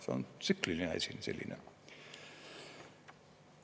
See on tsükliline asi selline.